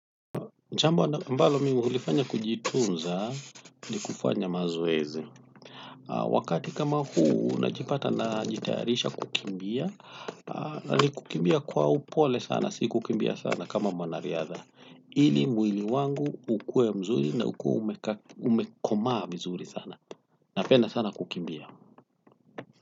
Jambo ambalo mimi hulifanya kujitunza ni kufanya mazoezi. Wakati kama huu, najipata najitayarisha kukimbia. Na ni kukimbia kwa upole sana, si kukimbia sana kama mwanariadha. Ili mwili wangu ukuwe mzuri na ukuwe umekomaa mzuri sana. Napenda sana kukimbia.